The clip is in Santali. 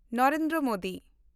ᱱᱚᱨᱮᱱᱫᱨᱚ ᱢᱳᱫᱤ